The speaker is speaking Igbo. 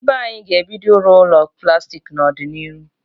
Ndị be anyị ga-ebido ịrụ ụlọ plastik n'odịnihu